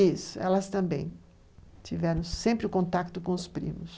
Isso, elas também tiveram sempre o contato com os primos.